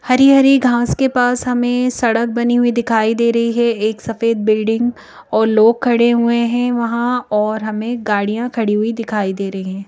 हरी-हरी घास के पास हमें सड़क बनी हुई दिखाई दे रही है एक सफेद बिल्डिंग और लोग खड़े हुए हैं वहां और हमें गाड़ियां खड़ी हुई दिखाई दे रही हैं।